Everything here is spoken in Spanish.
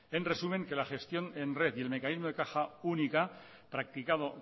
en resumen la gestión en red y el mecanismo de caja única practicado